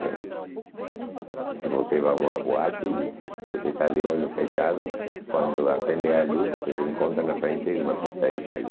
Porque porque você vai a uma boate e você está de olho fechado, quando acende a luz você se encontra na frente de uma pista de gelo.